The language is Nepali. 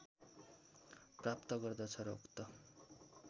प्राप्त गर्दछ र उक्त